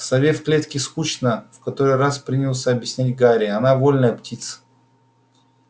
сове в клетке скучно в который раз принялся объяснять гарри она вольная птица